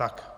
Tak.